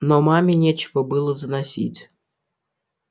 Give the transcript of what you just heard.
но маме нечего было заносить